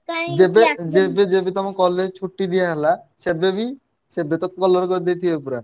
ଯେବେ ଯେବେ ଯେବେ ତମ college ଛୁଟି ଦିଆ ହେଲା ସେବେବି ପୁରା।